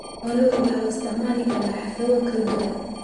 Xoolaha waxaa loo isticmaali karaa xaflado kala duwan.